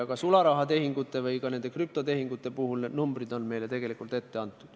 Ka sularahatehingute ja krüptotehingute puhul on numbrid meile tegelikult ette antud.